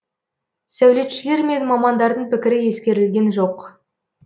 сәулетшілер мен мамандардың пікірі ескерілген жоқ